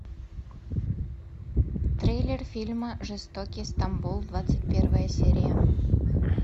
трейлер фильма жестокий стамбул двадцать первая серия